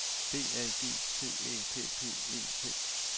B A G T Æ P P E T